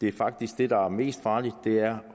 er faktisk det der er mest farligt det er